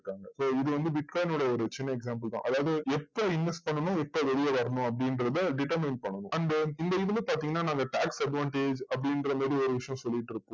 so இது வந்து விட்கான் ஓட ஒரு சின்ன example தான் அதாவது இப்போ inverse பண்ணனும் இப்போ வெளில வரணும் அப்டின்றத determine பண்ணனும் அந்த இந்த இதுல பாத்திங்கன்னா நாங்க tax advantage அப்டின்ற மாறி ஒரு விஷயம் சொல்லிட்டு இருக்கோம்